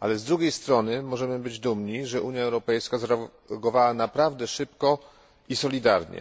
ale z drugiej strony możemy być dumni, że Unia Europejska zareagowała szybko i solidarnie.